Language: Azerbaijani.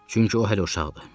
Çünki o hələ uşaqdır.